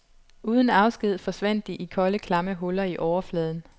Uden afsked forsvandt de i kolde klamme huller i overfladen.